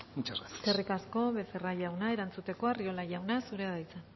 muchas gracias eskerrik asko becerra jauna erantzuteko arriola jauna zurea da hitza